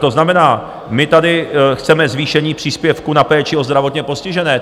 To znamená, my tady chceme zvýšení příspěvků na péči o zdravotně postižené.